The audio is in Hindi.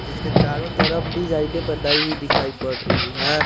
इसके चारों तरफ डिज़ाइने बनाई हुई दिखाई पड़ रही हैं।